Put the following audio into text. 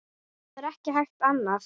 Það er ekki hægt annað.